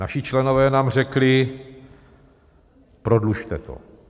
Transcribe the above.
Naši členové nám řekli: Prodlužte to.